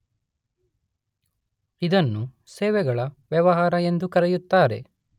ಇದನ್ನು ಸೇವೆಗಳ ವ್ಯವಹಾರ ಎಂದೂ ಕರೆಯುತ್ತಾರೆ.